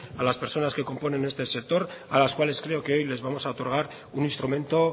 a las personas que componen este sector a las cuales creo que hoy les vamos a otorgar un instrumento